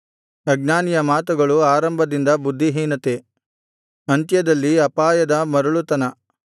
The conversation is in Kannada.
ಅಜ್ಞಾನಿಯ ಮಾತುಗಳು ಆರಂಭದಲ್ಲಿ ಬುದ್ಧಿಹೀನತೆ ಅಂತ್ಯದಲ್ಲಿ ಅಪಾಯದ ಮರಳುತನ